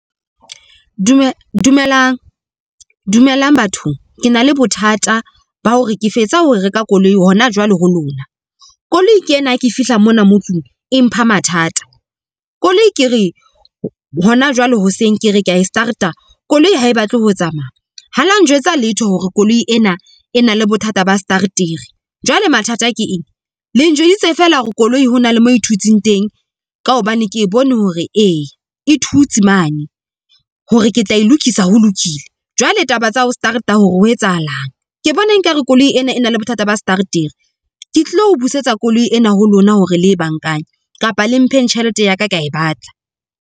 Dumelang, dumelang bathong ke na le bothata ba hore ke fetsa ho reka koloi hona jwale ho lona. Koloi ena ha ke fihla mona motseng e mpha mathata koloi ke re hona jwale hoseng ke re kea e start-a koloi ha e batle ho tsamaya ha la njwetsa letho hore koloi ena e na le bothata ba starter-ra jwale mathata ke eng? Le njweditse feela hore koloi hona le mo e thutsing teng ka hobane ke bone hore eya e thutse mane hore ke tla e lokisa ho lokile. Jwale taba tsa ho start-a hore ho etsahalang ke bona ekare koloi ena e na le bothata ba starter-ra ke tlo busetsa koloi ena ho lona, hore le kapa le mpheng tjhelete ya ka kea e batla.